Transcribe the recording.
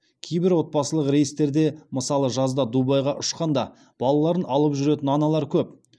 кейбір отбасылық рейстерде мысалы жазда дубайға ұшқанда балаларын алып жүретін аналар көп